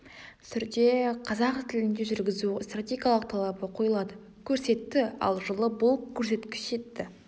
түрде қазақ тілінде жүргізу стратегиялық талабы қойылады көрсетті ал жылы бұл көрсеткш жетті